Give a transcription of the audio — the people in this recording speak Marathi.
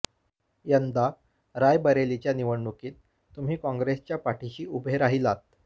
यंदा रायबरेलीच्या निवडणुकीत तुम्ही काँग्रेसच्या पाठिशी उभे राहिलात